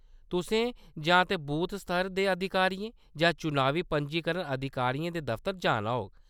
तुसें जां ते बूथ स्तर दे अधिकारियें जां चुनावी पंजीकरण अधिकारियें दे दफ्तर जाना होग।